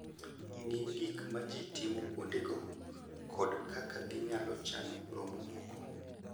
Ng'e gik ma ji timo kuondego kod kaka ginyalo chano romo moko.